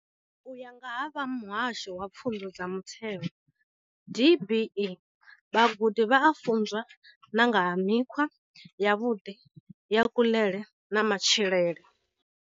U ya nga vha muhasho wa pfunzo dza mutheo, DBE, vhagudi vha a funzwa na nga ha mikhwa yavhuḓi ya kuḽele na matshilele.